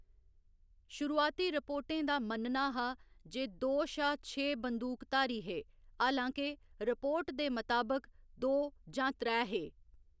शुरुआती रिपोर्टें दा मन्नना हा जे दो शा छे बंदूकधारी हे, हालां के, रिपोर्ट दे मताबक दो जां त्रै हे।